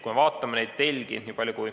Vaatame neid telgi.